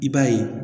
I b'a ye